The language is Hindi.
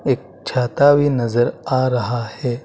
एक छाता भी नजर आ रहा है।